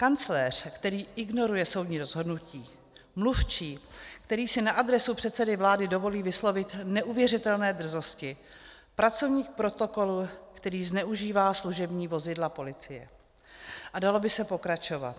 Kancléř, který ignoruje soudní rozhodnutí, mluvčí, který si na adresu předsedy vlády dovolí vyslovit neuvěřitelné drzosti, pracovník protokolu, který zneužívá služební vozidla policie, a dalo by se pokračovat.